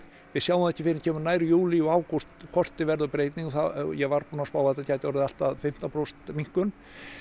við sjáum það ekki fyrr en kemur nær júlí og ágúst hvort verði breyting ég var búinn að spá að þetta gæti orðið allt að fimmtán prósent minnkun